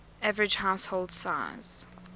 average household size